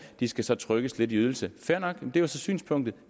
de skal så trykkes lidt i ydelse fair nok det er så synspunktet